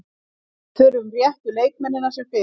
Við þurfum réttu leikmennina sem fyrst.